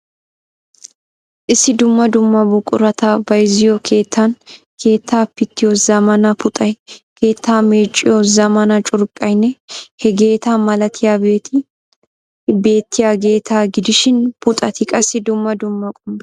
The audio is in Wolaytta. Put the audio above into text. Issi dumma dumma buqurata bayzziyo keettaan keettaa pittiyo zammaana puxxay, keetta meecciyo zamaana curqqaynne hegeeta malatiyabati bettiyaageeta gidishiin puxxati qassi dumma dumma qommo.